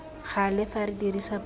gale fa re dirisa puo